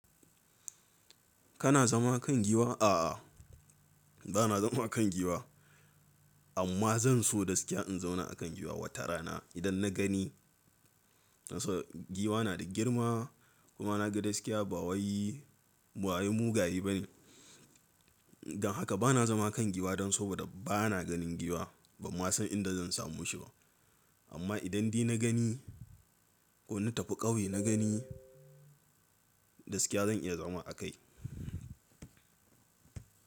Kana zama kan giwa? A'a, ba na zama kan giwa, amma zan so gaskiya in zauna a kan giwa watarana idan na gani. Giwa na da girma kuma na ga gaskiya ba wai mugaye bane. Don haka bana zama kan giwa dan saboda bana ganin giwa bamma san inda zan samoshi ba. Amma idan dai nagani ko na tafi ƙauye na gani gaskiya zan iya zama a kai.